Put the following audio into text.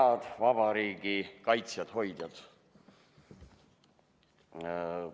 Head vabariigi kaitsjad, hoidjad!